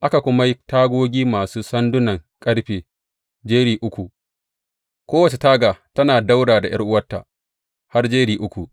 Aka kuma yi tagogi masu sandunan ƙarfe, jeri uku, kowace taga tana ɗaura da ’yar’uwarta, har jeri uku.